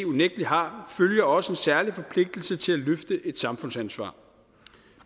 unægtelig har følger også en særlig forpligtelse til at løfte et samfundsansvar